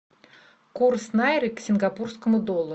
курс найры к сингапурскому доллару